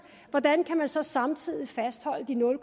så samtidig kan fastholde de nul